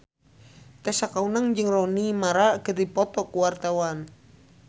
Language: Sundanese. Tessa Kaunang jeung Rooney Mara keur dipoto ku wartawan